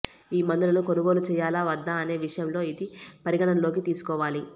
ఈ మందులను కొనుగోలు చేయాలా వద్దా అనే విషయంలో ఇది పరిగణనలోకి తీసుకోవాలి